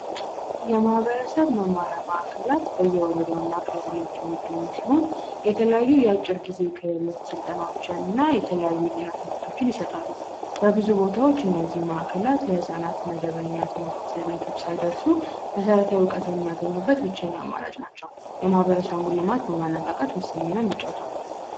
የማህበረሰብ መማሪያ ማዕከላት በየወረደውና ቀላል የተለያዩ ስልጠናዎችንና የተለያዩ ይሰጣሉ በብዙ ቦታዎች እነዚህ ማዕከላት ለህፃናት መደበኛ ትምህርት ቤቶች ደርሶ መሰረታዊ አማራጭ ናቸው የማህበረሰቡን በማነቃቃት ወሳኝ ሚና ይጫወታሉ።